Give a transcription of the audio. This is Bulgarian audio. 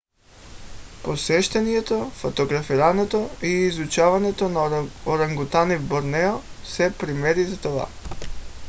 посещението фотографирането и изучаването на орангутани в борнео са примери за това